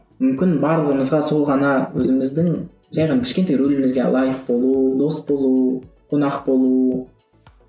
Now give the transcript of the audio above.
мүмкін барлығымызға сол ғана өзіміздің жай ғана кішкентай рөлімізге лайық болу дос болу қонақ болу